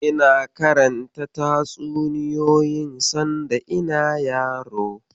Ina karanta tatsuniyoyin sanda ina yaro.